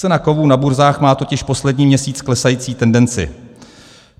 Cena kovů na burzách má totiž poslední měsíc klesající tendenci.